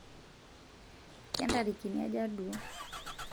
kentarikini aja duo?